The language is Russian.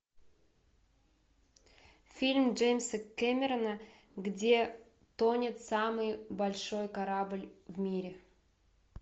фильм джеймса кэмерона где тонет самый большой корабль в мире